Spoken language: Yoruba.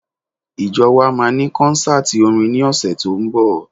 Ìjọ wa máa ní kọ́ńsátì orin ní ọ̀sẹ̀ tó ń bọ̀.